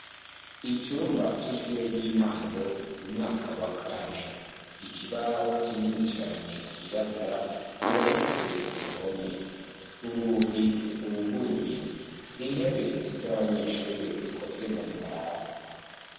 Icumba c'ishure ry'intango, umwaka wa kane. Ikibaho kinini cane cirabura, gihometswe ku ruhome. Urugi rwuguruye. Intebe z' abanyeshure zikozwe mu mbaho.